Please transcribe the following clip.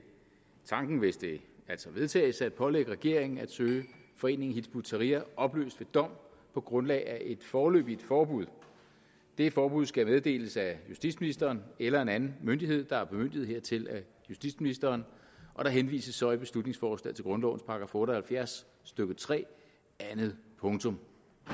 tanken hvis det altså vedtages at pålægge regeringen at søge foreningen hizb ut tahrir opløst ved dom på grundlag af et foreløbigt forbud det forbud skal meddeles af justitsministeren eller af en anden myndighed der er bemyndiget hertil af justitsministeren og der henvises så i beslutningsforslaget til grundlovens § otte og halvfjerds stykke tre anden punkt